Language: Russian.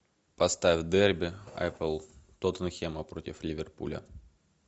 поставь дерби апл тоттенхэма против ливерпуля